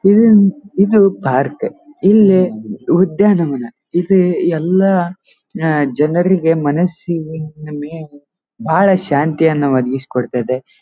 ಇದು ಇದು ಪಾರ್ಕ್ ಇಲ್ಲಿ ಉದ್ಯಾನವನ ಇದು ಎಲ್ಲಾ ಅಹ್ ಜನರಿಗೆ ಮನಸ್ಸು ಮೇ ಬಹಳ ಶಾಂತಿಯನ್ನು ಒದಗಿಸಿ ಕೊಡುತ್ತೆ.